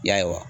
Y'a ye wa